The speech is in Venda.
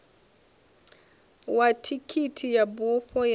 wa thikhithi ya bufho ya